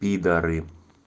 пидоры